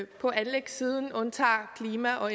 på anlægssiden undtager klima og